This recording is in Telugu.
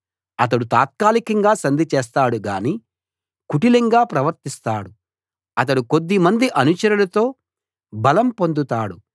అతడు తాత్కాలికంగా సంధి చేస్తాడు గానీ కుటిలంగా ప్రవర్తిస్తాడు అతడు కొద్దిమంది అనుచరులతో బలం పొందుతాడు